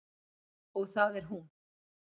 Og það er hún.